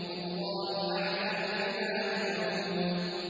وَاللَّهُ أَعْلَمُ بِمَا يُوعُونَ